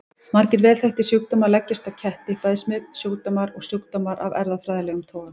Margir vel þekktir sjúkdómar leggjast á ketti, bæði smitsjúkdómar og sjúkdómar af erfðafræðilegum toga.